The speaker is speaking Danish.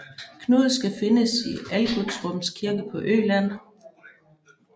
Knud skal findes i Algutsrums kirke på Øland